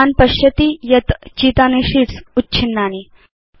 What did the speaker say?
भवान् पश्यति यत् चितानि शीट्स् उच्छिन्नानि